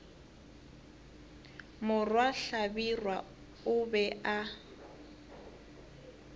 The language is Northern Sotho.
morwa hlabirwa o be a